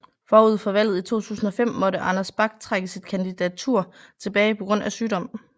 Forud for valget i 2005 måtte Anders Bak trække sit kandidatur tilbage på grund af sygdom